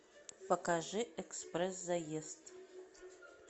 покажи экспресс заезд